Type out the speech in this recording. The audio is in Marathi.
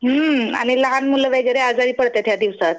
हुं आणि लहान मुले वगैरे आजारी पडत्यात ह्या दिवसात.